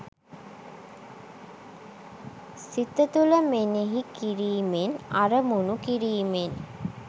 සිත තුළ මෙනෙහි කිරීමෙන්, අරමුණු කිරීමෙන්